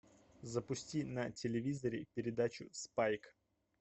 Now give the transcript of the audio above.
запусти на телевизоре передачу спайк